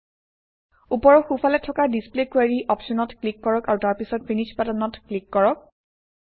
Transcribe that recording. ওপৰৰ সোঁফালে থকা ডিছপ্লে কোৰী অপশ্যনত ক্লিক কৰক আৰু তাৰপিছত ফিনিশ বাটনত ক্লিক কৰক